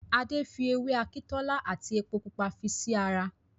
Adé fi ewé Akintola àti epo Pupa fi sí ra